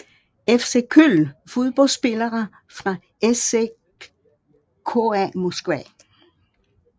FC Köln Fodboldspillere fra CSKA Moskva